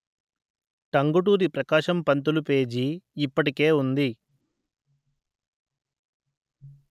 Tanguturi Prakasam Pantulu page ఇప్పటికే ఉంది